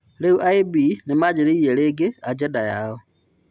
Rĩu IB nimanjĩrĩirie rĩngĩ ajenda yao.